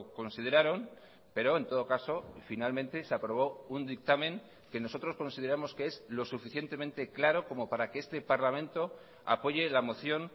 consideraron pero en todo caso finalmente se aprobó un dictamen que nosotros consideramos que es lo suficientemente claro como para que este parlamento apoye la moción